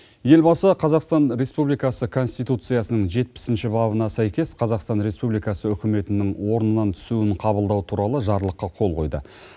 елбасы қазақстан республикасы конституциясының жетпісінші бабына сәйкес қазақстан республикасы үкіметінің орнынан түсуінің қабылдауы туралы жарлыққа қол қойды